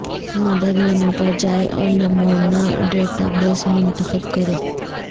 مدد مینو پر جائیں اور نمونہ ڈیٹا بیس منتخب کریں